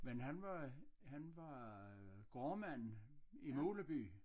Men han var han var øh gårdmand i Muleby